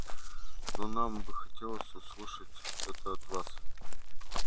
но нам бы хотелось услышать это от вас